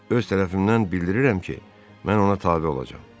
Öz tərəfimdən bildirirəm ki, mən ona tabe olacam.